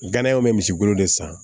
Ganayaw be misi bolo de san